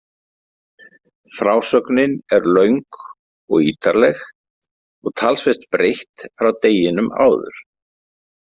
Frásögnin er löng og ítarleg og talsvert breytt frá deginum áður.